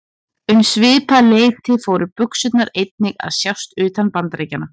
Um svipað leyti fóru buxurnar einnig að sjást utan Bandaríkjanna.